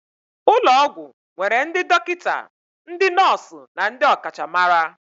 Ụlọ ọgwụ nwere ndị dọkịta, ndị nọọsụ na ndị ọkachamara